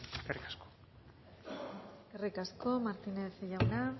eskerrik asko eskerrik asko martínez jauna